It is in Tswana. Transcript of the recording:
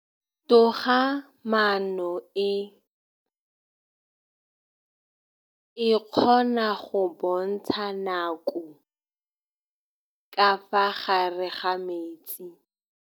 Toga-maanô e, e kgona go bontsha nakô ka fa gare ga metsi.